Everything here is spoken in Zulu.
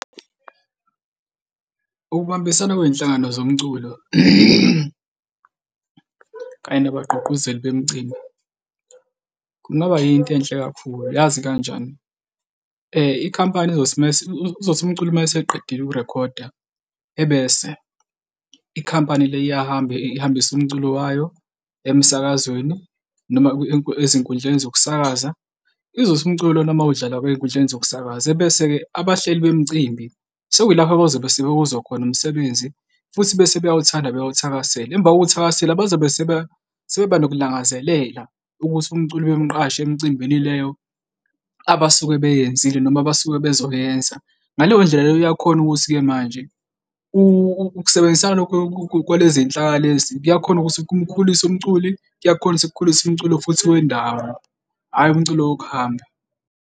Ukubambisana kwey'nhlangano zomculo kanye nabagqugquzeli bemicimbi kungaba yinto enhle kakhulu, yazi kanjani? Ikhampani izothi uzothi umculi uma eseqedile ukurekhoda ebese ikhampani le iyahamba ihambise umculo wayo emsakazweni noma ezinkundleni zokusakaza, izothi umculo uma udlala ey'nkundleni zokusakaza ebese-ke abahleli bemicimbi sekuyilapho bazobe sebewuzwa khona umsebenzi futhi bese beyawuthanda, bewawuthakasele emva kokuwuthakasela bazobe sebeba nokulangazelela ukuthi umculo bemqashe emcimbini leyo abasuke beyenzile noma abasuke bezoyenza. Ngaleyo ndlela leyo uyakhona ukuthi-ke manje ukusebenzisana lokho kwalezinhlaka lezi kuyakhona ukuthi kumkhulise umculi, kuyakhona ukuthi kukhulise umculo futhi wendawo, hhayi umculi wokuhamba.